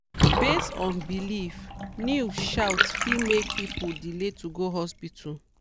based on belief news shout fit make people delay to go hospital.